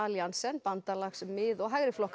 Alliansen bandalags mið og